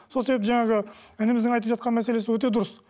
сол себепті жаңағы ініміздің айтып жатқан мәселесі өте дұрыс